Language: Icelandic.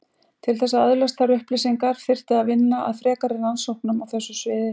Til þess að öðlast þær upplýsingar þyrfti að vinna að frekari rannsóknum á þessu sviði.